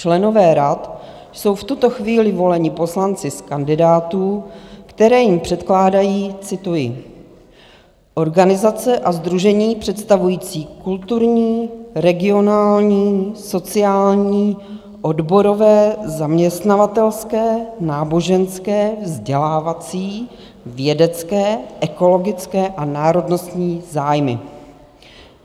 Členové rad jsou v tuto chvíli voleni poslanci z kandidátů, které jim předkládají - cituji - "organizace a sdružení představující kulturní, regionální, sociální, odborové, zaměstnavatelské, náboženské, vzdělávací, vědecké, ekologické a národnostní zájmy".